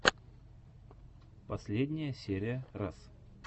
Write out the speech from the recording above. последняя серия раз